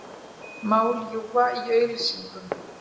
Má ljúga í auglýsingum?